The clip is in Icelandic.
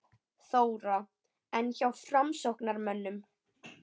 Þóra: En hjá framsóknarmönnum?